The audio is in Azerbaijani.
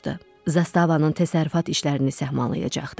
Zastavanın təsərrüfat işlərini səhmana salacaqdı.